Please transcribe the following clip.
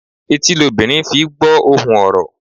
Etí lobìnrin fi I gbó ohùn orò.